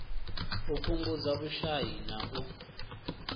u fhungudza vhushai na u